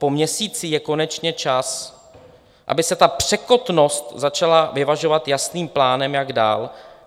Po měsíci je konečně čas, aby se ta překotnost začala vyvažovat jasným plánem, jak dál.